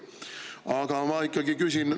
Aga ma ikkagi küsin.